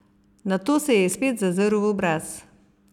Nato se ji je spet zazrl v obraz.